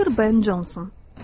Doktor Ben Canson.